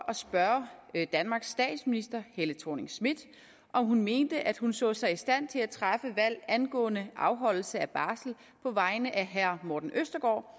at spørge danmarks statsminister helle thorning schmidt om hun mente at hun så sig i stand til at træffe valg angående afholdelse af barsel på vegne af herre morten østergaard